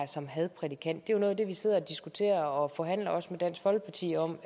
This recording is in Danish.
som hadprædikant det er jo noget af det vi sidder og diskuterer og forhandler med dansk folkeparti om